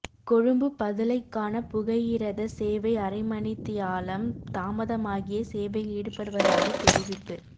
கொழும்பு பதுளைக்கான புகையிரத சேவை அரை மணித்தியாலம் தாமதமாகியே சேவையில் ஈடுப்படுவதாக தெரிவிப்பு